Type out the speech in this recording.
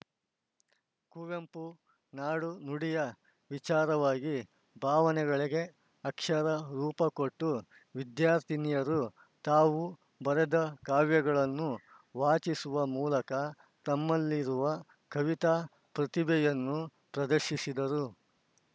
ಕುವೆಂಪು ನಾಡು ನುಡಿಯ ವಿಚಾರವಾಗಿ ಭಾವನೆಗಳಿಗೆ ಅಕ್ಷರ ರೂಪಕೊಟ್ಟವಿದ್ಯಾರ್ಥಿನಿಯರು ತಾವು ಬರೆದ ಕಾವ್ಯಗಳನ್ನು ವಾಚಿಸುವ ಮೂಲಕ ತಮ್ಮಲ್ಲಿರುವ ಕವಿತಾ ಪ್ರತಿಭೆಯನ್ನು ಪ್ರದರ್ಶಿಸಿದರು